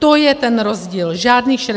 To je ten rozdíl, žádných 60 tisíc.